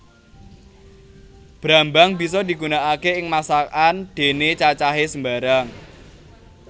Brambang bisa digunakaké ing masakan déné cacahé sembarang